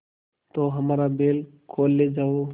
तो हमारा बैल खोल ले जाओ